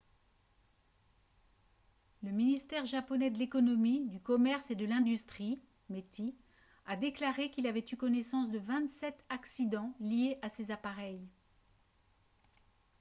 le ministère japonais de l'économie du commerce et de l'industrie meti a déclaré qu'il avait eu connaissance de 27 accidents liés à ces appareils